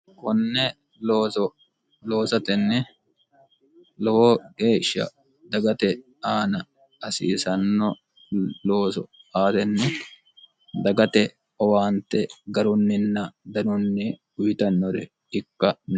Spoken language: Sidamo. konne oloosatenni lowo geeshsha dagate aana hasiisanno looso aarenni dagate owaante garunninna danunni uyitannore ikka